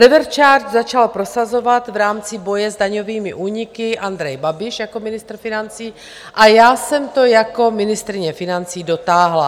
Revers charge začal prosazovat v rámci boje s daňovými úniky Andrej Babiš jako ministr financí a já jsem to jako ministryně financí dotáhla.